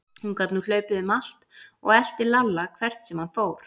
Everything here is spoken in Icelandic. Hún gat nú hlaupið um allt og elti Lalla hvert sem hann fór.